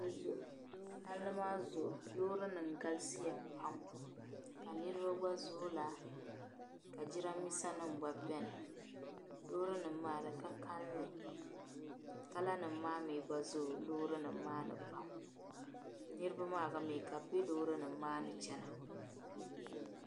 Palli maa zuɣu loorinima galisiya pam ka niriba gba zooi laa ka niriba gba laa ka jiramiinsanim beni loorinima maa di kalinli "colour" nim maa mi gba zooi loorinima maa mi pam niriba maa mi ka bi be loorinima maa ni chana.